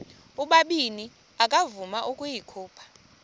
ubabini akavuma ukuyikhupha